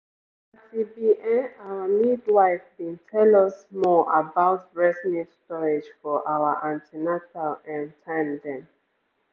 as e be[um]our midwife bin tell us more about breast milk storage for our an ten atal ehm time dem